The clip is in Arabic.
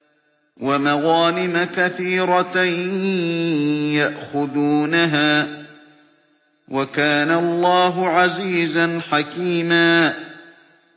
وَمَغَانِمَ كَثِيرَةً يَأْخُذُونَهَا ۗ وَكَانَ اللَّهُ عَزِيزًا حَكِيمًا